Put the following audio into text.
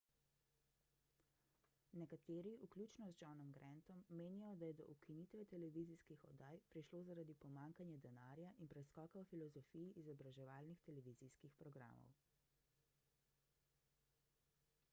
nekateri vključno z johnom grantom menijo da je do ukinitve televizijskih oddaj prišlo zaradi pomanjkanja denarja in preskoka v filozofiji izobraževalnih televizijskih programov